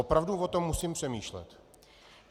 Opravdu o tom musím přemýšlet.